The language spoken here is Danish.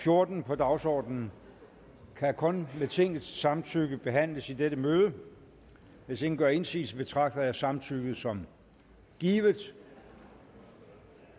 fjorten på dagsordenen kan kun med tingets samtykke behandles i dette møde hvis ingen gør indsigelse betragter jeg samtykket som givet